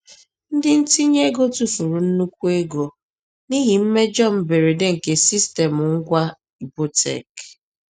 Ndị ntinye ego tufuru nnukwu ego n’ihi mmejọ mberede nke sistemụ ngwa Ibotek.